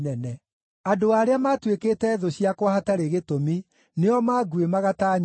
Andũ arĩa maatuĩkĩte thũ ciakwa hatarĩ gĩtũmi nĩo maanguĩmaga ta nyoni.